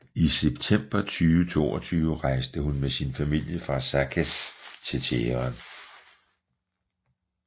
I september 2022 rejste hun med sin familie fra Saqqez til Teheran